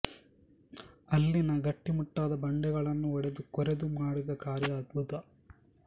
ಅಲ್ಲಿನ ಗಟ್ಟಿಮುಟ್ಟಾದ ಬಂಡೆಗಳನ್ನು ಒಡೆದು ಕೊರೆದು ಮಾಡಿದ ಕಾರ್ಯ ಅದ್ಭುತ